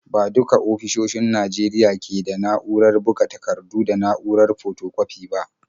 Ba duka ofisoshin Najeriya ne ke da na’urar buga takardu da na’urar fotokwafi ba.